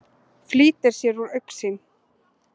Flýtir sér úr augsýn.